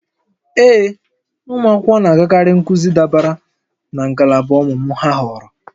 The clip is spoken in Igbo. Ee, ụmụ akwụkwọ na-agakarị nkuzi dabere na ngalaba ọmụmụ ha họọrọ